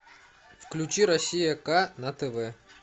включи россия к на тв